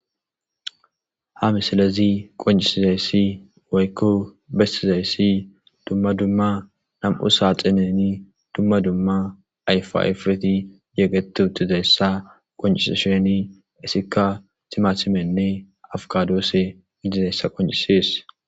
Ha missilezi qonc'isidaysi woyko besizaysi duma duma nam'u saxinen duma duma ayfa ayfeti yegeti utidaysa qonc'isishen izika timatimenne afikadose gididaysa qonc'ises.